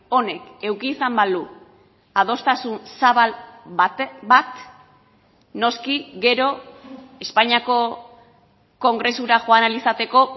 honek eduki izan balu adostasun zabal bat noski gero espainiako kongresura joan ahal izateko